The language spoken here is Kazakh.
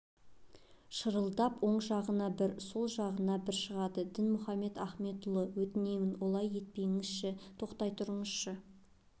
шырылдап оң жағына бір сол жағына бір шығады дінмұхаммед ахмедұлы өтінемін олай етпеңізші тоқтай тұрыңызшы